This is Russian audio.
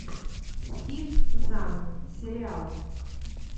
стив зан сериал